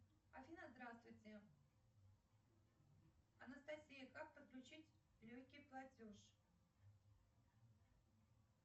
афина здравствуйте анастасия как подключить легкий платеж